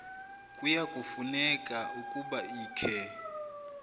kuyafuneka ukuba ikhe